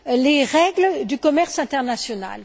les règles du commerce international.